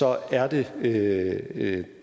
er det det